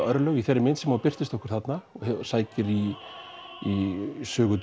örlög í þeirri mynd sem hún birtist okkur þarna og sækir í í sögu